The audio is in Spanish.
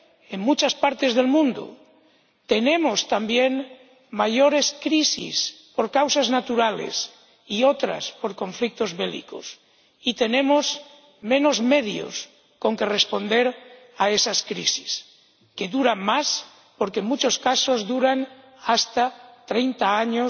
en muchas partes del mundo. Tenemos también mayores crisis por causas naturales y otras por conflictos bélicos, y tenemos menos medios con que responder a esas crisis, que duran más porque en muchos casos durante hasta treinta años